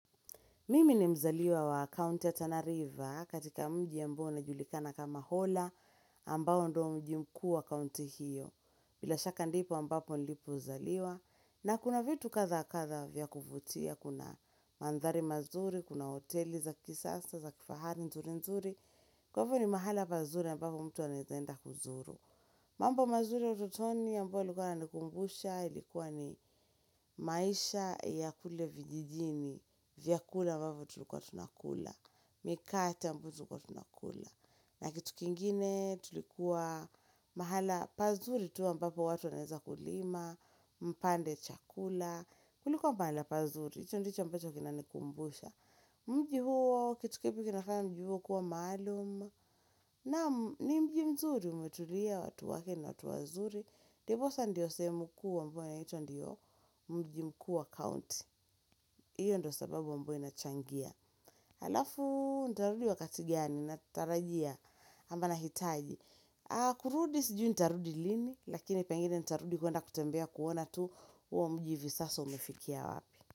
Mimi ni mzaliwa wa kaunti ya Tanariva katika mji ambao unajulikana kama hola ambao ndo mji mkuu wa kaunti hiyo. Bila shaka ndipo ambapo nilipo uzaliwa. Na kuna vitu kadha kadha vya kuvutia, kuna maandhari mazuri, kuna hoteli za kisasa, za kifahari, nzuri nzuri. Kwa hivo ni mahala pazuri ambapo mtu anaezaenda kuzuru. Mambo mazuri ututoni ambao ilikuwa inanikumbusha, ilikuwa ni maisha ya kule vijijini, vyakula ambavyo tulikuwa tunakula, mikate ambao tulikuwa tunakula. Na kitu kingine tulikuwa mahala pazuri tu ambapo watu wanaeza kulima, mpande chakula, kulikuwa pahala pazuri, hicho ndicho ambacho kinanikumbusha. Mji huo kitu kipi kinafanya mji huo kuwa maaluma na ni mji mzuri umetulia watu wake na watu wazuri Diposa ndiyo sehemu kuu ambao anaitwa ndiyo mji mkuu wa county Iyo ndo sababu ambayo inachangia Halafu ndarudi wakati gani natarajia ama na hitaji kurudi sijui nitarudi lini lakini pengene nitarudi kuwanda kutembea kuona tu huo mji hivi sasa umefikia wapi.